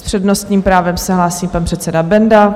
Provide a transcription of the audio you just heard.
S přednostním právem se hlásí pan předseda Benda.